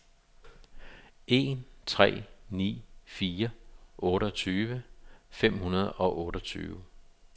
en tre ni fire otteogtyve fem hundrede og otteogtyve